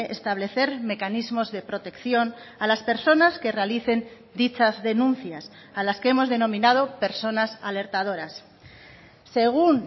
establecer mecanismos de protección a las personas que realicen dichas denuncias a las que hemos denominado personas alertadoras según